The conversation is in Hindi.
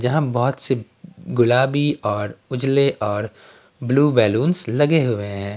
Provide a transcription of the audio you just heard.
जहाँ बहुत से गुलाबी और उजले और ब्लू बैलूंस लगे हुए हैं।